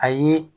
Ayi